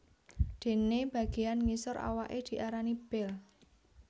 Dene bageyan ngisor awaké diarani bel